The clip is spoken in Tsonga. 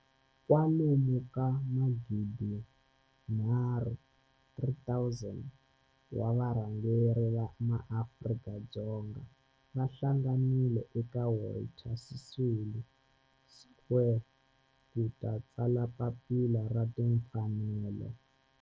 kwalomu ka magidi nharhu, 3 000, wa varhangeri va maAfrika-Dzonga va hlanganile eka Walter Sisulu Square ku ta tsala Papila ra Timfanelo.